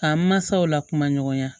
K'an mansaw lakumaya